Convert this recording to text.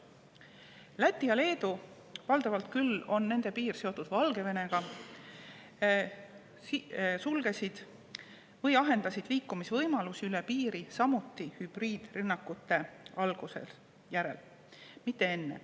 Läti ja Leedu – valdavalt küll on nende piir seotud Valgevenega – sulgesid või ahendasid liikumisvõimalusi üle piiri samuti hübriidrünnakute alguse järel, mitte enne.